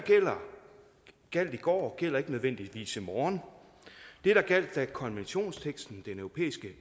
gjaldt i går gælder ikke nødvendigvis i morgen det der gjaldt da konventionsteksten i den europæiske